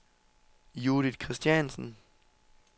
Judith Kristiansen